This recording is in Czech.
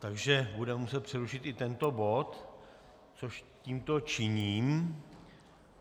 Takže budeme muset přerušit i tento bod, což tímto činím.